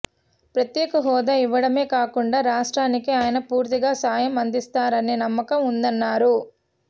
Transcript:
ప్రత్యేక హోదా ఇవ్వడమే కాకుండా రాష్ర్టానికి ఆయన పూర్తగా సాయం అందిస్తారనే నమ్మకం ఉందన్నారు